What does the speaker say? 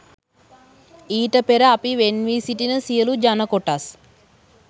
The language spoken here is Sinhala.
ඊට පෙර අපි වෙන්වී සිටින සියලු ජන කොටස්